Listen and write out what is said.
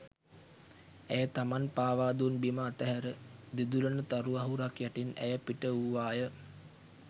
ඇය තමන් පාවා දුන් බිම අතහැර දිදුළන තරු අහුරක් යටින් ඇය පිටවූවා ය.